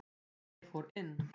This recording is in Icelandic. Ég fór inn.